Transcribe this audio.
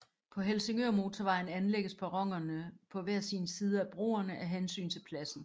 På Helsingørmotorvejen anlægges perronerne på hver sin side af broerne af hensyn til pladsen